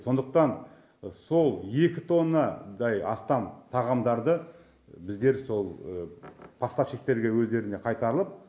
сондықтан сол екі тоннадай астам тағамдарды біздер сол поставщиктерге өздеріне қайтарылып